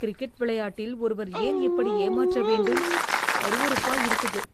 Cricket விளையாட்டில் ஒருவர் ஏன் இப்படி ஏமாற்ற வேண்டும்? அருவருப்பா இருக்குது!